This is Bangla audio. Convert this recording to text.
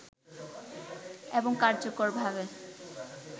এবং কার্যকরভাবে